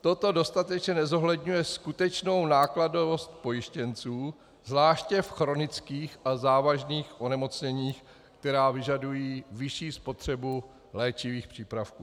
Toto dostatečně nezohledňuje skutečnou nákladovost pojištěnců zvláště v chronických a závažných onemocněních, která vyžadují vyšší spotřebu léčivých přípravků.